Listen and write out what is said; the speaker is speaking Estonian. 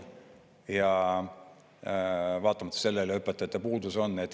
Ja vaatamata sellele õpetajate puudus on.